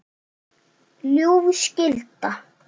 ljúf skylda.